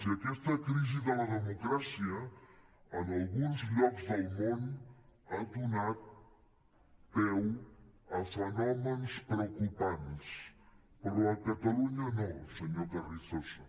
i aquesta crisi de la democràcia en alguns llocs del món ha donat peu a fenòmens preocupants però a catalunya no senyor carrizosa